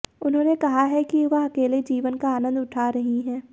उन्होंने कहा है कि वह अकेले जीवन का आनंद उठा रही हैं